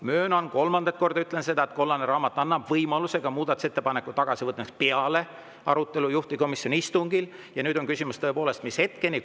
Möönan, kolmandat korda ütlen seda, et kollane raamat annab võimaluse muudatusettepanek tagasi võtta ka peale arutelu juhtivkomisjoni istungil, ja nüüd on tõepoolest küsimus, mis hetkeni.